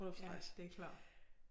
Ja det er klart